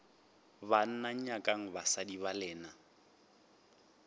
banna nyakang basadi ba lena